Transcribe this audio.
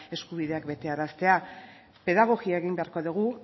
eskubideak betearaztea pedagogia egin beharko dugu